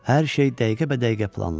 Hər şey dəqiqəbədəqiqə planlanmışdı.